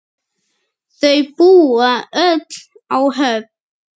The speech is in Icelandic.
Þau búa öll á Höfn.